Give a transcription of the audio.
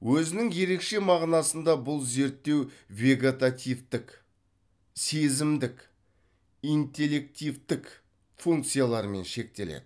өзінің ерекше мағынасында бұл зерттеу вегетативтік сезімдік интеллективтік функцияларымен шектеледі